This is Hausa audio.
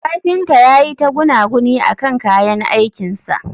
kafinta yayi ta gunaguni akan kayan aikin sa